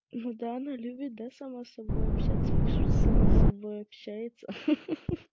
ну да она любит да сама с собой общаться пусть сама с собой общается хи-хи